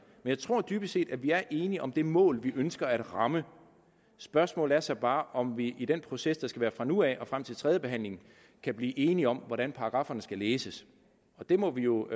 jeg tror dybest set at vi er enige om det mål vi ønsker at ramme spørgsmålet er så bare om vi i den proces der skal være fra nu af og frem til tredjebehandlingen kan blive enige om hvordan paragrafferne skal læses og det må vi jo